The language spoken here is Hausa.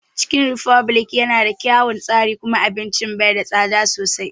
Cikin refublik ya na da kyaun tsari kuma abincin ba tsada sosai